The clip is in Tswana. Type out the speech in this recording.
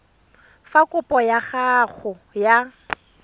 fa kopo ya gago ya